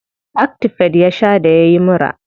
Actifed ya sha da yayi mura.